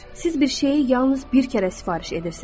Siz bir şeyi yalnız bir kərə sifariş edirsiniz.